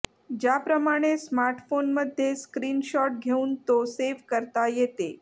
ज्याप्रमाणे स्मार्टफोनमध्ये screenshot घेऊन तो सेव्ह करता येते